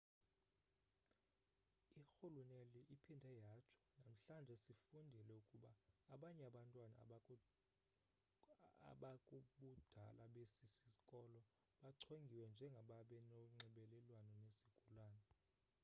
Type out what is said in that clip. irhuluneli iphinde yatsho namhlanje sifundile ukuba abanye abantwana abakubudala besi sikolo bachongiwe njengababenonxibelelwano nesigulana